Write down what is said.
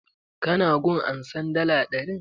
Ka na gun ansan dala ɗarin?